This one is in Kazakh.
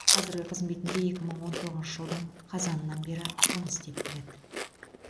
қазіргі қызметінде екі мың он тоғызыншы жылдың қазанынан бері жұмыс істеп келеді